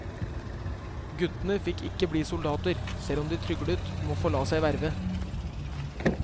Guttene fikk ikke bli soldater, selv om de tryglet om å få la seg verve.